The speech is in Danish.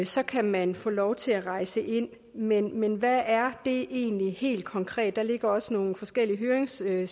så kan man få lov til at rejse ind men men hvad er det egentlig helt konkret der ligger også nogle forskellige høringssvar